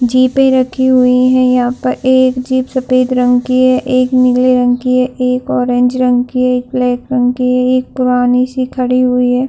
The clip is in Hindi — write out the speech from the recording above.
जीपे रखी हुई है यहाँ पर। एक जीप सफ़ेद रंग की है। एक नीले रंग की है। एक ऑरेंज रंग की है। एक ब्लैक रंग की है। एक पुरानी सी खडी हुई है।